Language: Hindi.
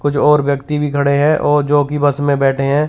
कुछ और व्यक्ति भी खड़े हैं और जो की बस में बैठे हैं।